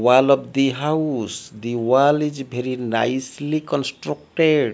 wall of the house the wall is very nicely constructed.